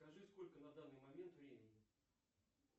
скажи сколько на данный момент времени